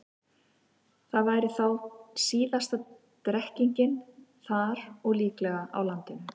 Það væri þá síðasta drekkingin þar og líklega á landinu.